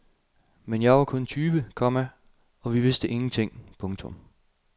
Men jeg var kun tyve, komma og vi vidste ingenting. punktum